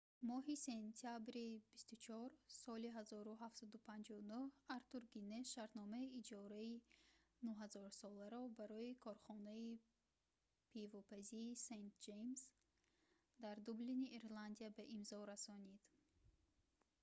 моҳи сентябри 24 соли 1759 артур гиннес шартномаи иҷораи 9000 соларо барои корхонаи пивопазии st james дар дублини ирландия ба имзо расонид